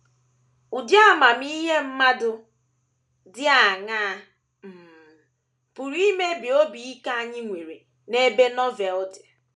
Ụdị amamihe mmadụ dị aṅaa um pụrụ imebi obi ike anyị nwere n’ebe Novel dị?